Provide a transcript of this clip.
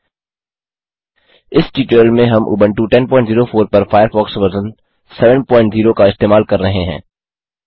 इस ट्यूटोरियल में हम उबंटू 1004 पर फ़ायरफ़ॉक्स वर्ज़न 70 का इस्तेमाल कर रहे हैं